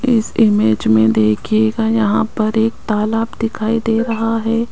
इस इमेज में देखिएगा यहां पर एक तालाब दिखाई दे रहा है।